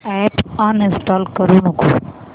app uninstall करू नको